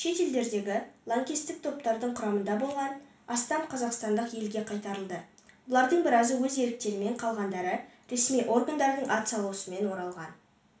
шет елдердегі лаңкестік топтардың құрамында болған астам қазақстандық елге қайтарылды олардың біразы өз еріктерімен қалғандары ресми органдардың атсалысуымен оралған